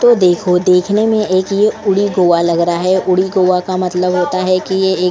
तो देखो देखने में एक ये उड़ी गोवा लग रहा है उड़ी गोवा का मतलब होता है कि ये एक --